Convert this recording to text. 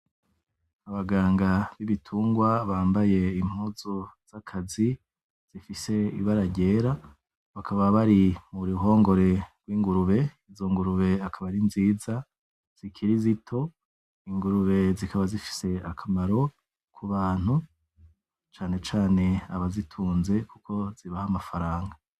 Abaganga b’ibitungwa bambaye impuzu z’akazi zifise ibara ryera bakaba bari mu ruhongore rw’ingurube izo ingurube akaba ari nziza zikiri zito ingurube zikaba zifise akamaro ku bantu canecane abazitunze kuko zibaha amafaranga.